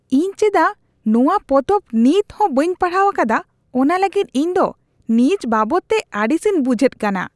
ᱤᱧ ᱪᱮᱫᱟᱜ ᱱᱚᱣᱟ ᱯᱚᱛᱚᱵ ᱱᱤᱛ ᱦᱚᱸ ᱵᱟᱹᱧ ᱯᱟᱲᱦᱟᱣ ᱟᱠᱟᱫᱟ ᱚᱱᱟ ᱞᱟᱹᱜᱤᱫ ᱤᱧ ᱫᱚ ᱱᱤᱡ ᱵᱟᱵᱚᱫᱛᱮ ᱟᱹᱲᱤᱥᱤᱧ ᱵᱩᱡᱷᱮᱫ ᱠᱟᱱᱟ ᱾